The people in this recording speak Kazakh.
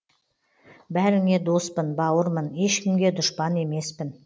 бәріңе доспын бауырмын ешкімге дұшпан емеспін